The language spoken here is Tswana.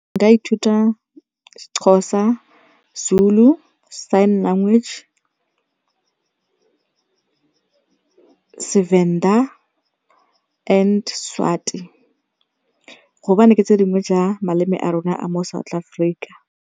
Nka ithuta Sexhosa, Zulu, sign language, Sevenda and Swati gobane ke tse dingwe tsa maleme a rona a mo South Africa.